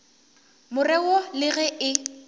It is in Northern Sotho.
more wo le ge e